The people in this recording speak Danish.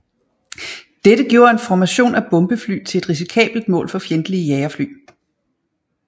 Dette gjorde en formation af bombefly til et risikabelt mål for fjendtlige jagerfly